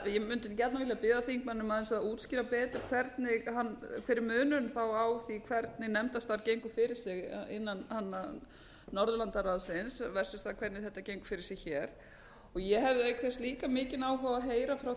ég mundi gjarnan vilja biðja þingmanninn um að útskýra aðeins betur hver er þá munurinn á því hvernig nefndastarf gengur fyrir sig innan norðurlandaráðsins versus það hvernig þetta gengur fyrir sig hér og ég hefði auk þess líka mikinn áhuga á að heyra frá